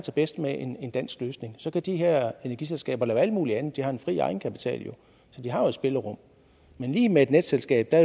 bedst med en dansk løsning så kan de her energiselskaber lave alt mulig andet de har en fri egenkapital så de har jo et spillerum men lige med et netselskab er